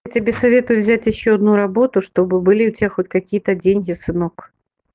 тебе советую взять ещё одну работу чтобы были у тебя хоть какие-то деньги сынок